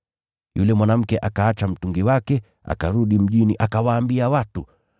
Yule mwanamke akaacha mtungi wake, akarudi mjini akawaambia watu,